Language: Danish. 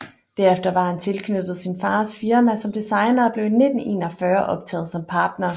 Derefter var han tilknyttet sin fars firma som designer og blev i 1941 optaget som partner